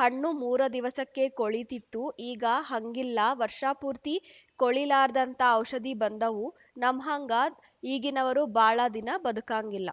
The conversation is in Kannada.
ಹಣ್ಣು ಮೂರ ದಿವಸಕ್ಕೆ ಕೊಳಿತಿತ್ತು ಈಗ ಹಂಗಿಲ್ಲಾ ವರ್ಷಪೂರ್ತೀ ಕೊಳಿಲಾರದ್ಹಂತ ಔಷಧಿ ಬಂದಾವು ನಮ್ಹಂಗ ಈಗಿನವರು ಬಾಳ ದಿನ ಬದುಕಾಂಗಿಲ್ಲ